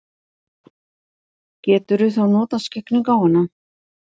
Geturðu þá notað skyggnigáfuna?